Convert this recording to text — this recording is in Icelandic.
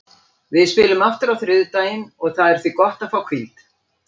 Við spilum aftur á þriðjudaginn og það er því gott að fá hvíld.